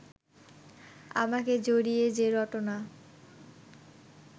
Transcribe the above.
আমাকে জড়িয়ে যে রটনা